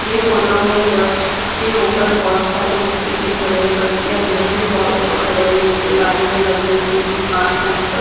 यह फोटो में बस के ऊपर बहुत सारे व्यक्ति दिख रहे हैं बस के अंदर भी बहुत लोग खड़े हैं नीचे लाइन में लगे एक पुलिस मास्क पहन कर--